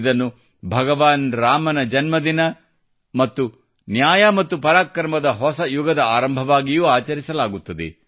ಇದನ್ನು ಭಗವಾನ್ ರಾಮನ ಜನ್ಮದಿನ ಮತ್ತು ನ್ಯಾಯ ಮತ್ತು ಪರಾಕ್ರಮದ ಹೊಸ ಯುಗದ ಆರಂಭವಾಗಿಯೂ ಆಚರಿಸಲಾಗುತ್ತದೆ